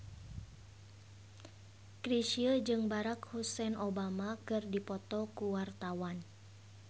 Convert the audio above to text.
Chrisye jeung Barack Hussein Obama keur dipoto ku wartawan